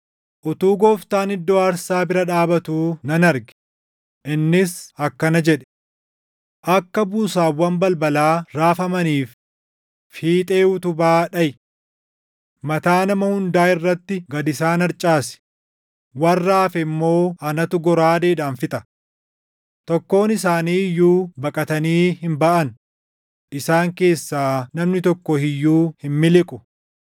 Utuu Gooftaan iddoo aarsaa bira dhaabatuu nan arge; innis akkana jedhe: “Akka buusaawwan balbalaa raafamaniif fiixee utubaa dhaʼi. Mataa nama hundaa irratti gad isaan harcaasi; warra hafe immoo anatu goraadeedhaan fixa. Tokkoon isaanii iyyuu baqatanii hin baʼan; isaan keessaa namni tokko iyyuu hin miliqu.